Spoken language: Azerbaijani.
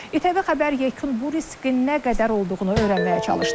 İTV xəbər yekun bu riski nə qədər olduğunu öyrənməyə çalışdı.